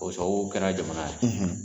O sababu kɛra jamana ye.